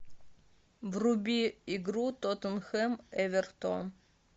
вруби игру тоттенхэм эвертон